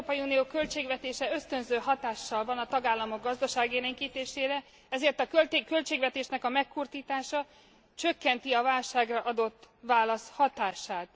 Az Európai Unió költségvetése ösztönző hatással van a tagállamok gazdaságélénkítésére, ezért a költségvetés megkurtítása csökkenti a válságra adott válasz hatását.